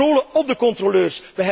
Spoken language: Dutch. Een controle op de controleurs.